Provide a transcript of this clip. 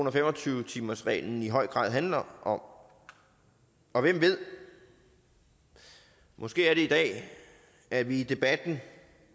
og fem og tyve timersreglen i høj grad handler om og hvem ved måske er det i dag at vi i debatten